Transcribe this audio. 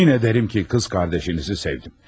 Yemin edərəm ki, qız qardaşınızı sevdim.